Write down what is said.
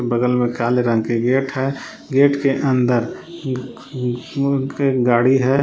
बगल में काले रंग के गेट है गेट के अंदर ग ग ग गाड़ी है।